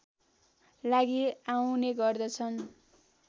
लागि आउने गर्दछन्